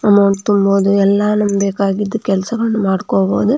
Amount ತುಂಬೋದು ಎಲ್ಲ ನಮ್ಗೆ ಬೇಕಾಗಿದ್ದು ಕೆಲಸ ಮಾಡ್ಕೊಬೋದು.